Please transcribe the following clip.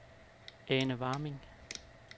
Ane Warming